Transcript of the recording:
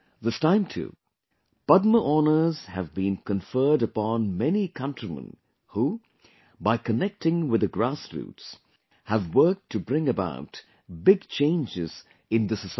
This time too, Padma honors have been conferred upon many countrymen who, by connecting with the grassroots, have worked to bring about big changes in the society